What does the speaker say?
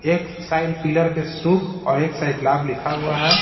एक side pillar पे शुभ और एकसाइड लाभ लिखा हुआ है।